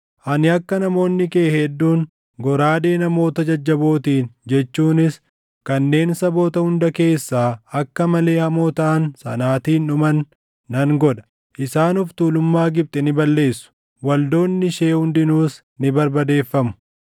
Ani akka namoonni kee hedduun goraadee namoota jajjabootiin jechuunis kanneen saboota hunda keessaa akka malee hamoo taʼan sanaatiin // dhuman nan godha. Isaan of tuulummaa Gibxi ni balleessu; waldoonni ishee hundinuus ni barbadeeffamu.